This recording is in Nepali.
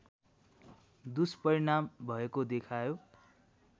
दुष्परिणाम भएको देखायो